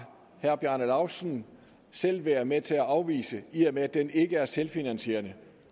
herre bjarne laustsen selv været med til at afvise i og med at den ikke er selvfinansierende